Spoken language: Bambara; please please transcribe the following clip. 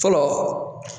Fɔlɔ